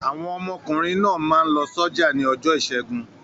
Àwọn ọmọkùnrin náà máa ń lọ sọ́jà ní ọjọ́ ìṣẹ́gun.